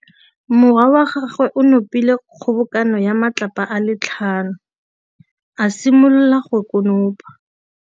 Morwa wa gagwe o nopile kgobokanô ya matlapa a le tlhano, a simolola go konopa.